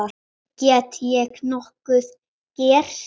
Get ég nokkuð gert?